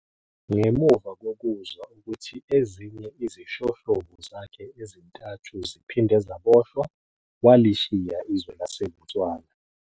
Ngemuva kokuzwa ukuthi ezinye izishoshovu zakhe ezintathu ziphinde zaboshwa, walishiya izwe laseBotswana.